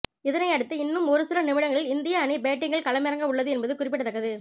இதனை அடுத்து இன்னும் ஒரு சில நிமிடங்களில் இந்திய அணி பேட்டிங்கில் களமிறங்க உள்ளது என்பது குறிப்பிடத்தக்கது